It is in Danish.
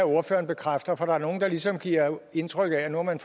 ordføreren bekræfter for der er nogle der ligesom giver indtryk af at man